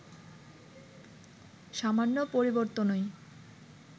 সামান্য পরিবর্তনই